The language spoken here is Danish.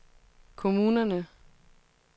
kommunerne